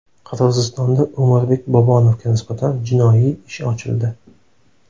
Qirg‘izistonda O‘murbek Bobonovga nisbatan jinoiy ish ochildi.